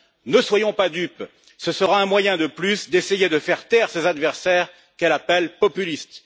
Ne soyons pas dupes, ce sera un moyen de plus d'essayer de faire taire ses adversaires qu'elle appelle populistes.